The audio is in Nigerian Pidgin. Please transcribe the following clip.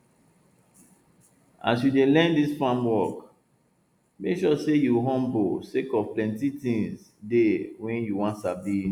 as you dey learn dis farm work make sure say you humble sake of plenti tins dey wey you wan sabi